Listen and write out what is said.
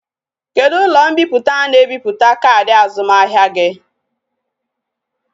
Kedu ulo mpiputa na e biputa kaadi azumahia gi?